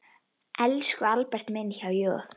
Elsku Albert minn, há joð.